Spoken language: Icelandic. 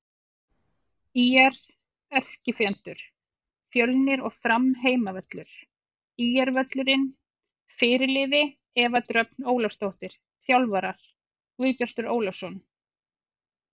ÍR: Erkifjendur: Fjölnir og Fram Heimavöllur: ÍR-völlurinn Fyrirliði: Eva Dröfn Ólafsdóttir Þjálfarar: Guðbjartur Ólafsson